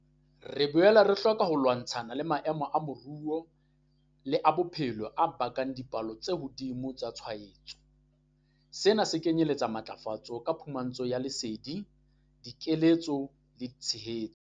Re boela re hloka ho lwantshana le maemo a moru le a bophelo a bakang dipalo tse hodimo tsa tshwaetso. Sena se kenyeletsa matlafatso ka phumantsho ya lesedi, dikeletso le tshehetso.